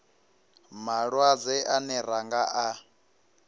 malwadze ane ra nga a